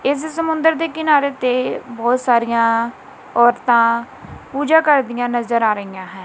ਇੱਸ ਸਮੁੰਦਰ ਦੇ ਕਿਨਾਰੇ ਤੇ ਬਹੁਤ ਸਾਰੀਆਂ ਔਰਤਾਂ ਪੂਜਾ ਕਰਦਿਆਂ ਨਜ਼ਰ ਆ ਰਹੀਆਂ ਹੈਂ।